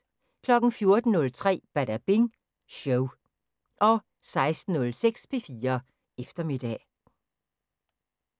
14:03: Badabing Show 16:06: P4 Eftermiddag